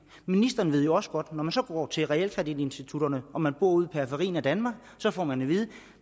ministeren ved jo også godt at når man så går til realkreditinstitutterne og man bor ude i periferien af danmark så får man at vide at